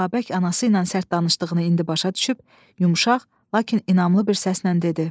Babək anası ilə sərt danışdığını indi başa düşüb yumşaq, lakin inanımlı bir səslə dedi: